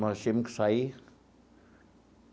Nós tínhamos que sair.